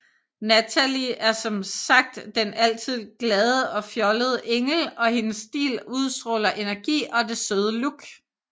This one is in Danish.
Natalie er som sagt den altid glade og fjollede Engel og hendes stil udstråler energi og det søde look